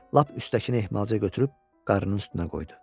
Lap üstdəkini ehmalca götürüb qarın üstünə qoydu.